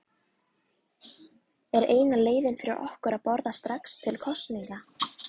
Er eina leiðin fyrir okkur að boða strax til kosninga?